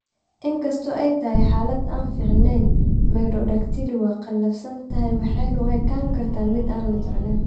Inkasta oo ay tahay xaalad aan fiicneyn, macrodactyly waa qallafsan tahay waxayna u ekaan kartaa mid aan la jeclayn